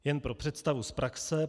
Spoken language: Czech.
Jen pro představu z praxe.